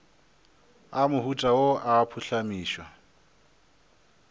a mohuta wo a phuhlamišwa